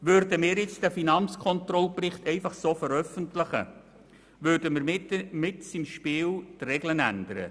Würden wir den Finanzkontrollbericht einfach so veröffentlichen, würden wir mitten im Spiel die Regeln ändern.